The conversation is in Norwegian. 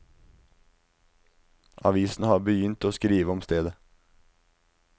Avisene har begynt å skrive om stedet.